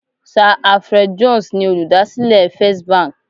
Sa Alfred Jones ni olùdásílẹ̀ First Bank